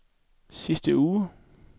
sidste uge